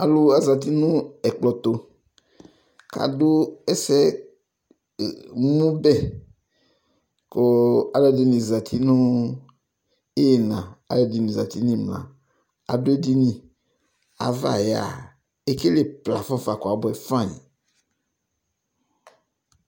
Alu azati nu ɛkplɔ tu Kadu ɛsɛmubɛ Kalu ɛdini azati nu iyina ku alu ɛdini imla Adu edini ku ava yɛa ekele plafɔ kuabuɛ fan yi